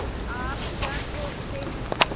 आप क्या सोचते हैं